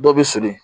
Dɔ bɛ siri